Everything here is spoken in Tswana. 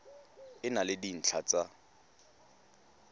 e na le dintlha tsa